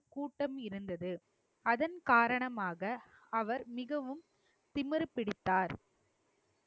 கூட்டம் இருந்தது அதன் காரணமாக அவர் மிகவும் திமிரு பிடித்தார்